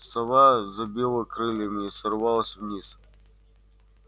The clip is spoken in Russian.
сова забила крыльями и сорвалась вниз